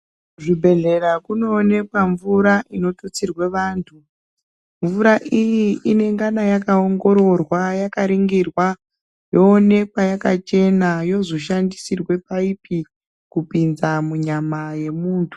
Zvibhedhlera zvinoonekwa mvura inotutsirwa antu mvura iyi inongana yakaongororwa yakaningirwa yoonekwa yakachena yozoshandisirwa paipi Kupinza munyama yemuntu.